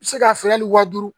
Se ka feere hali waa duuru